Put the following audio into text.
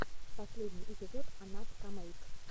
последний эпизод анапкамэйк